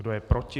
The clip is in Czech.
Kdo je proti?